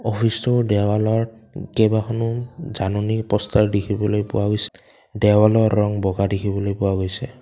অফিচটোৰ দেৱালত কেইবাখনো জাননী প'ষ্টাৰ দেখিবলৈ পোৱা গৈছে দেৱালৰ ৰং বগা দেখিবলৈ পোৱা গৈছে।